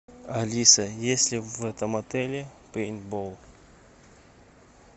алиса есть ли в этом отеле пейнтбол